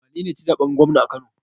Wanene yaci zaɓen gwamna a kano?